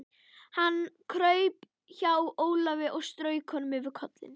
Hann kraup hjá Ólafi og strauk honum yfir kollinn.